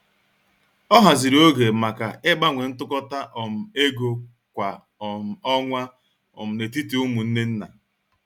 Ọ haziri oge maka ịgbanwe ntụkọta um égo kwa um ọnwa um n'etiti umunne nna.